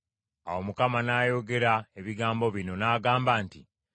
Awo Katonda n’ayogera ebigambo bino, n’agamba nti: